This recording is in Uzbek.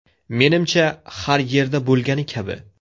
Menimcha, har yerda bo‘lgani kabi.